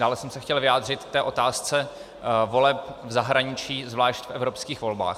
Dále jsem se chtěl vyjádřit k otázce voleb v zahraničí, zvlášť v evropských volbách.